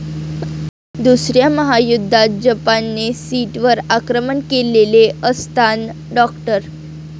दुसऱ्या महायुद्धात जपानने शीटवर आक्रमण केलेले असतान डॉ.